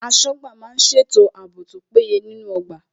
Aṣọ́gbà má ń má ń ṣètò ààbò tó péye nínú ọgbà